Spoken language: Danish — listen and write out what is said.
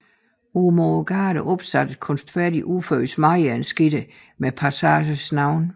Ud mod gaden er der opsat et kunstfærdigt udført smedejernsgitter med passagens navn